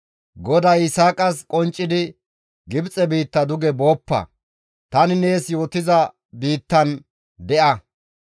GODAY Yisaaqas qonccidi, «Gibxe biitta duge booppa; tani nees yootiza biittan de7a.